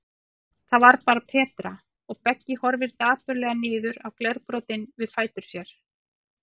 Það var bara Petra, og Beggi horfir dapurlega niður á glerbrotin við fætur sér.